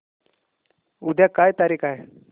उद्या काय तारीख आहे